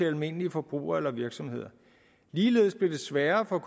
almindelige forbrugere eller virksomheder ligeledes blev det sværere for